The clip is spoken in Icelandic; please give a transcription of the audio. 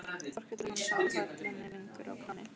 Þórkell og Jón sátu kollunni lengur á kránni.